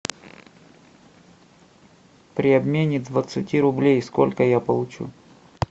при обмене двадцати рублей сколько я получу